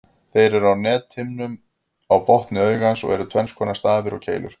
Þeir eru á nethimnunni á botni augans og eru tvenns konar, stafir og keilur.